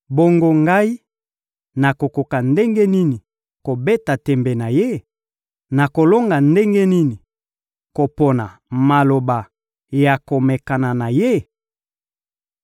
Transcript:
Bongo, ngai, nakokoka ndenge nini kobeta tembe na Ye? Nakolonga ndenge nini kopona maloba ya komekana na Ye?